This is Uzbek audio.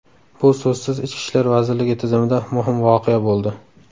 Bu so‘zsiz Ichki ishlar vazirligi tizimida muhim voqea bo‘ldi.